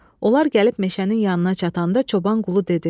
Onlar gəlib meşənin yanına çatanda çoban qulu dedi: